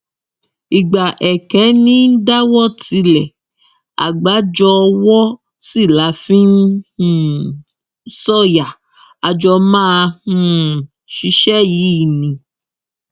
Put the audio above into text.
ìgbà èké ní í dáwọ tílẹ àgbájọ owó sí la fi um í sọyà a jọ máa um ṣiṣẹ yìí ni